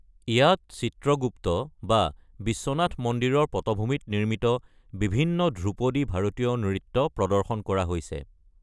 ইয়াত চিত্ৰগুপ্ত বা বিশ্বনাথ মন্দিৰৰ পটভূমিত নিৰ্মিত বিভিন্ন ধ্ৰুপদী ভাৰতীয় নৃত্য প্ৰদৰ্শন কৰা হৈছে।